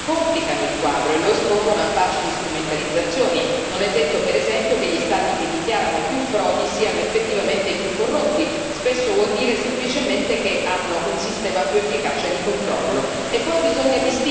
Tutti meccanismi che complicano il quadro e lo espongono a facili strumentalizzazioni. Non è detto, per esempio, che gli Stati che dichiarano più frodi siano effettivamente i più corrotti, spesso vuol dire semplicemente che hanno un sistema più efficace di controllo.